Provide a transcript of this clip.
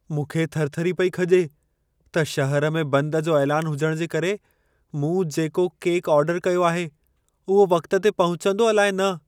मूंखे थरथरी पई खॼे त शहर में बंध जो ऐलान हुजण जे करे मूं जेको केक ऑर्डर कयो आहे, उहो वक़्त ते पहुचंदो अलाइ न।